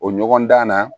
O ɲɔgɔndan na